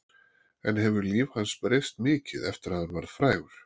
En hefur líf hans breyst mikið eftir að hann varð frægur?